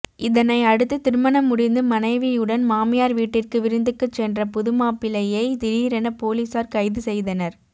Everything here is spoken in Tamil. இதனை அடுத்து திருமணம் முடிந்து மனைவியுடன் மாமியார் வீட்டிற்கு விருந்துக்குச் சென்ற புதுமாப்பிள்ளையை திடீரென போலீசார் கைது செய்தனர்